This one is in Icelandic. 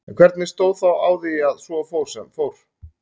En hvernig stóð þá á því að svo fór sem fór?